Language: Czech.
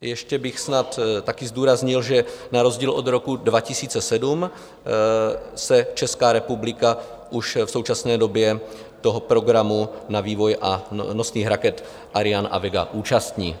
Ještě bych snad také zdůraznil, že na rozdíl od roku 2007 se Česká republika už v současné době toho programu na vývoj nosných raket Ariane a Vega účastní.